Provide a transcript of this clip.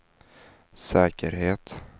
säkerhet